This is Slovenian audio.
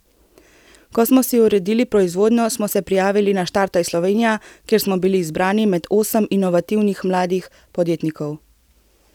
Ko smo si uredili proizvodnjo, smo se prijavili na Štartaj Slovenija, kjer smo bili izbrani med osem inovativnih mladih podjetnikov.